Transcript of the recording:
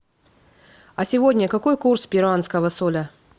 а сегодня какой курс перуанского соля